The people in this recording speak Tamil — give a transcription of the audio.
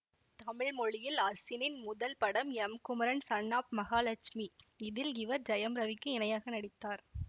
தமிழ் மொழியில் அசினின் முதல் படம் எம்குமரன் சன் ஆஃப் மகாலட்சுமி இதில் இவர் ஜெயம் ரவிக்கு இணையாக நடித்தார்